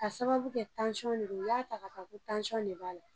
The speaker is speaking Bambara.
K'a sababu kɛ tansɔn ne don u y'a ta ka ko tansɔn ne b'a la